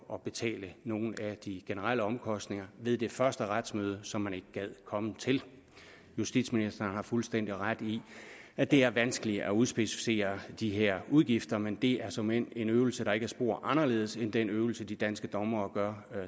at betale nogle af de generelle omkostninger ved det første retsmøde som man ikke gad komme til justitsministeren har fuldstændig ret i at det er vanskeligt at udspecificere de her udgifter men det er såmænd en øvelse der ikke er spor anderledes end den øvelse de danske dommere